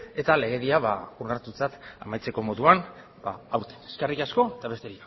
eta legedia ba onartutzat amaitzeko moduan aurten eskerrik asko eta besterik